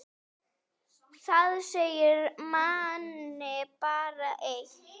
Það segir manni bara eitt.